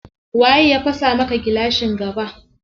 Waye ya fasa maka gilashin gaba?